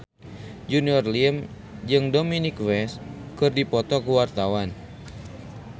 Junior Liem jeung Dominic West keur dipoto ku wartawan